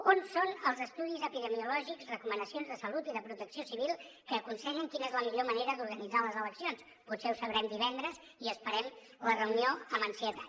on són els estudis epidemiològics recomanacions de salut i de protecció civil que aconsellen quina és la millor manera d’organitzar les eleccions potser ho sabrem divendres i esperem la reunió amb ansietat